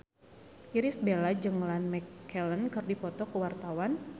Irish Bella jeung Ian McKellen keur dipoto ku wartawan